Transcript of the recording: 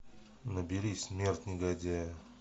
набери смерть негодяя